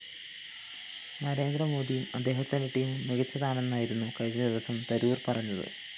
നരേന്ദ്രമോദിയും അദ്ദേഹത്തിന്റെ ടീമും മികച്ചതാണെന്നായിരുന്നു കഴിഞ്ഞ ദിവസം തരൂര്‍ പറഞ്ഞത്